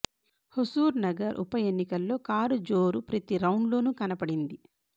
హుజూర్నగర్ ఉప ఎన్నికల్లో కారు జోరు ప్రతి రౌండ్ లోనూ కనపడింది